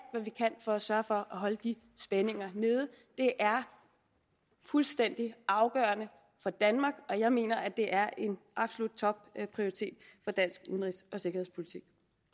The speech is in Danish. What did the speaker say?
hvad vi kan for at sørge for at holde de spændinger nede det er fuldstændig afgørende for danmark og jeg mener det er en absolut topprioritet for dansk udenrigs og sikkerhedspolitik